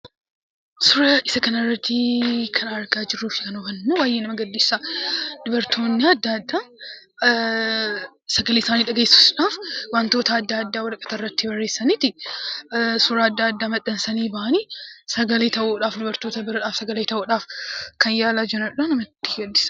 Suuraa isa kana irratti kan argaa jirru kun baayyee nama gaddisiisa. Dubartoonni addaa addaa sagalee isaanii dhageessisudhaaf; waantota addaa addaa waraqata irratti barreessanii suuraa addaa addaa maxxansanii bahanii sagalee ta'uudhaaf dubartoota bira kan yaalaa jiranidha. nama gaddisiisa.